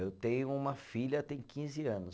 Eu tenho uma filha, tem quinze anos.